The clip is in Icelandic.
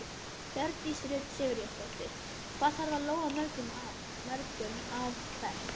Hjördís Rut Sigurjónsdóttir: Hvað þarf að lóga mörgum ár hvert?